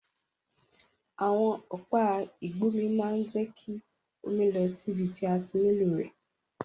Àwon ọ̀pá ìgbómi ma n je ki omi lọ síbi ti a ti nílò rẹ̀